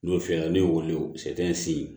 N'o filɛ n'i y'o wele o sɛfan si